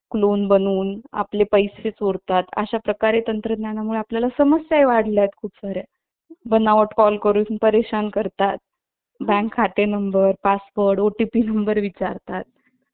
Clone बनवून आपले पैसे चोरतात अशा प्रकारे तंत्रज्ञानामुळे आपल्या समस्याही वाढल्या आहेत खूप सार् या बनावट Call करून परेशान करतात Bank खाते Number , Password , OTP Number विचारतात